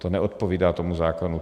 To neodpovídá tomu zákonu.